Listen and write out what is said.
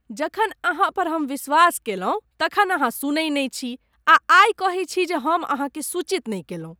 जखन अहाँ पर हम विश्वास कयलहुँ तखन अहाँ सुनै नै छी आ आइ कहै छी जे हम अहाँकेँ सूचित नहि कयलहुँ।